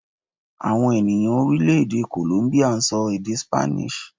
Àwọn ènìyàn Orílèdè 'Kòlómbíà' n sọ èdè 'Spanish'